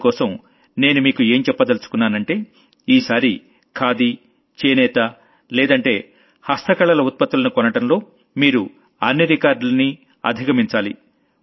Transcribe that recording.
అందుకోసం నేను మీకు ఏం చెప్పదలచుకున్నానంటే ఈసారి ఖాదీ హ్యాండ్లూం లేదంటే హ్యాండీక్రాఫ్ట్ లాంటి ప్రాడక్టుల్ని కొనడంలో మీరు అన్ని రికార్డుల్నీ అధిగమించాలి